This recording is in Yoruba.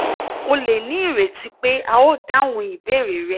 o lè ní ìrètí pé a óò dáhùn ìbéèrè rẹ